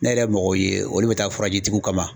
Ne yɛrɛ ye yemɔgɔ ye olu bɛ taa tigiw kama